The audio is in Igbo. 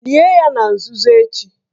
Lie ya na nzuzo echi